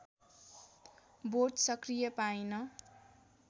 बोट सक्रिय पाइन